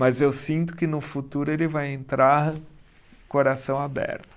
Mas eu sinto que no futuro ele vai entrar coração aberto.